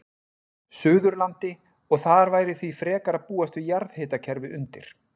Suðurlandi, og þar væri því frekar að búast við jarðhitakerfi undir.